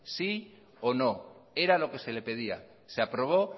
sí o no era lo que se le pedía se aprobó